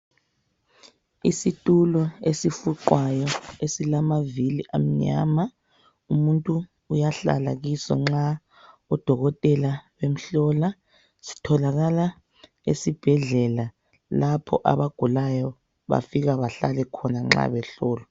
Isitulo esifuqwayo esilamavili amnyama. Umuntu uyahlala kiso nxa odokotela bemhlola. Sitholakala esibhedlela lapho abagulayo bafika bahlale khona nxa behlolwa.